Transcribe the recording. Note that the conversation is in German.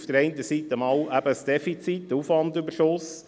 Einerseits ist es das Defizit, der Aufwandüberschuss.